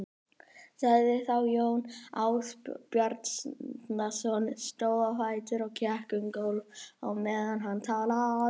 sagði þá Jón Ásbjarnarson, stóð á fætur og gekk um gólf á meðan hann talaði